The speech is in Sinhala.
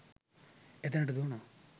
එතනට දුවනවා